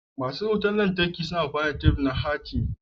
Masu lantarki suna aiki da tef ɗin hatimi.